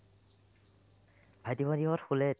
ভাইটি-ভণ্টিহঁত শুলে ।